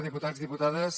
diputats diputades